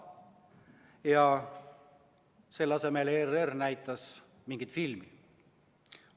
Aga selle kajastamise asemel näitas ERR mingit filmi.